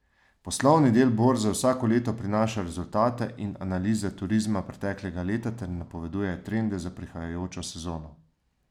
Poslovni del borze vsako leto prinaša rezultate in analize turizma preteklega leta ter napoveduje trende za prihajajočo sezono.